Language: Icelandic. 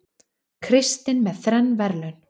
Kristinn með þrenn verðlaun